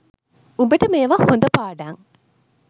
උඹට මේවා හොඳ පාඩං